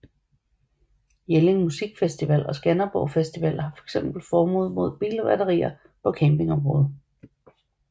Jelling Musikfestival og Skanderborg Festival har fx forbud mod bilbatterier på campingområdet